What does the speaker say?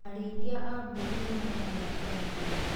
Arĩithia a mbũri nĩmaragĩa bainda.